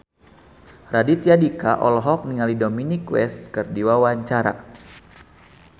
Raditya Dika olohok ningali Dominic West keur diwawancara